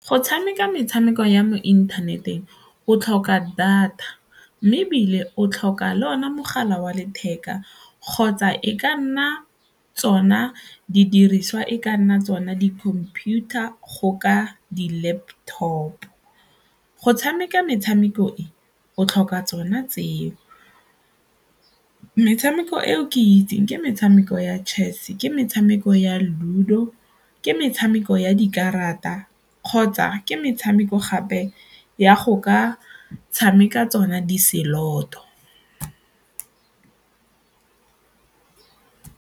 Go tshameka metshameko ya mo inthaneteng o tlhoka data mme ebile o tlhoka le ona mogala wa letheka kgotsa e ka nna tsona didiriswa e ka nna tsona di-computer go ka di-laptop, go tshameka metshameko e o tlhoka tsona tseo. Metshameko e o ke itseng ke metshameko ya chess, ke metshameko ya ludo, ke metshameko ya dikarata kgotsa ke metshameko gape ya go ka tshameka tsona di-slot-o.